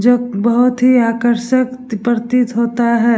जो बहुत ही आकर्षक प्रतीत होता है।